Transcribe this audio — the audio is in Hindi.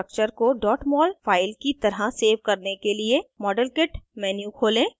इस structure को mol file की तरह सेव करने के लिए model kit menu खोलें